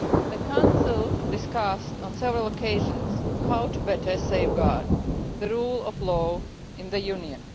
The Council discussed on several occasions how to better safeguard the rule of law in the Union.